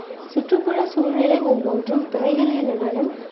சுற்றுப்புற சூழ்நிலை ஒவ்வொன்றும் திரைகளிலுடனும்